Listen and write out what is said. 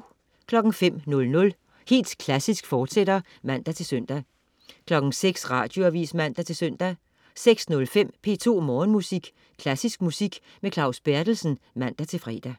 05.00 Helt Klassisk, fortsat (man-søn) 06.00 Radioavis (man-søn) 06.05 P2 Morgenmusik. Klassisk musik med Claus Berthelsen (man-fre)